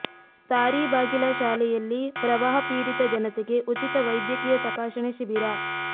ತಾರೀಬಾಗಿಲ ಶಾಲೆಯಲ್ಲಿ ಪ್ರವಾಹ ಪೀಡಿತ ಜನತೆಗೆ ಉಚಿತ ವೈದ್ಯಕೀಯ ತಪಾಸಣೆ ಶಿಬಿರ